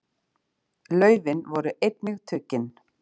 Laufin voru einnig tuggin.